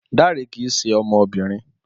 Dare kìí ṣe ọmọbìnrin